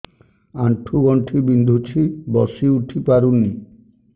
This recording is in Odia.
ଆଣ୍ଠୁ ଗଣ୍ଠି ବିନ୍ଧୁଛି ବସିଉଠି ପାରୁନି